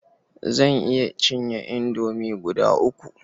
Zan iya cinye indomi guda uku.